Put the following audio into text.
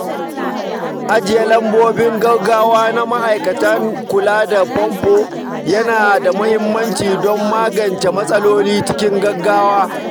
Ajiye lambobin gaugawa na ma'aikatan kula da famfo yana da muhimmanci don magance matsaloli cikin sauri.